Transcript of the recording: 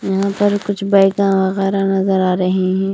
यहां पर कुछ वगैरह नजर आ रही हैं।